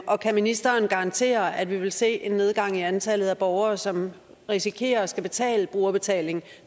og kan ministeren garantere at vi vil se en nedgang i antallet af borgere som risikerer at skulle betale brugerbetaling